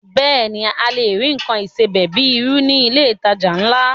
Bẹ́ẹ̀ ni, a lè rí nǹkan ìsebẹ̀ bíi irú ní ilé ìtajà ńlá